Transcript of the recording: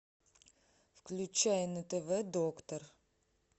включай на тв доктор